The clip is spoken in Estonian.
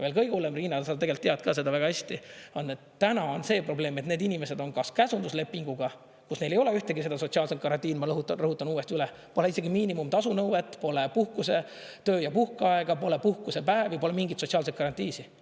Veel kõige hullem, Riina, ja sa tegelikult tead seda väga hästi, on, et täna on see probleem, et need inimesed on kas käsunduslepinguga, kus neil ei ole ühtegi sotsiaalset garantiid, ma rõhutan uuesti üle, pole isegi miinimumtasu nõuet, pole töö- ja puhkeaega, pole puhkusepäevi, pole mingeid sotsiaalseid garantiisid.